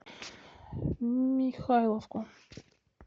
михайловку